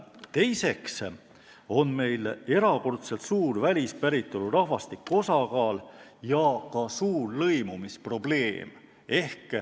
Teiseks on meil erakordselt suur välispäritolu rahvastiku osakaal ja ka suur lõimumisprobleem.